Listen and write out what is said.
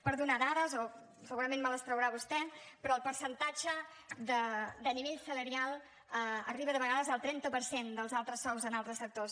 per donar dades o segurament me les traurà vostè però el percentatge de nivell salarial arriba de vegades al trenta per cent dels altres sous en altres sectors